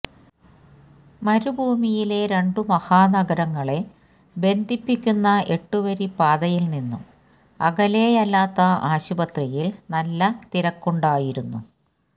മരുഭൂമിയിലെ രണ്ടു മഹാനഗരങ്ങളെ ബന്ധിപ്പിക്കുന്ന എട്ടുവരി പാതയിൽ നിന്നും അകലെയല്ലാത്ത ആശുപത്രിയിൽ നല്ല തിരക്കുണ്ടായിരുന്നു